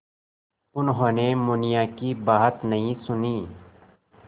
उन्होंने मुनिया की बात नहीं सुनी